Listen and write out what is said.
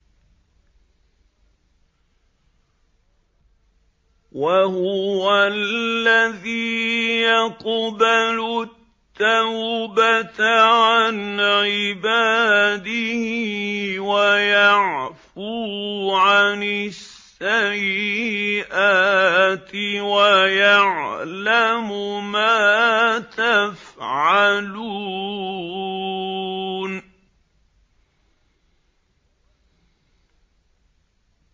وَهُوَ الَّذِي يَقْبَلُ التَّوْبَةَ عَنْ عِبَادِهِ وَيَعْفُو عَنِ السَّيِّئَاتِ وَيَعْلَمُ مَا تَفْعَلُونَ